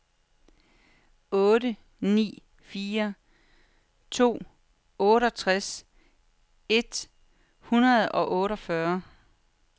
otte ni fire to otteogtres et hundrede og otteogfyrre